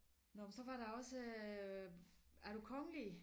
Nåh men så var der også øh er du kongelig